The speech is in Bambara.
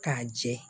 K'a jɛ